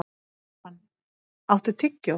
Keran, áttu tyggjó?